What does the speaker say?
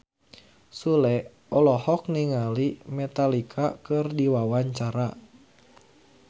Sule olohok ningali Metallica keur diwawancara